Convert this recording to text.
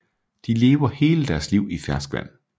De lever hele deres liv i ferskvand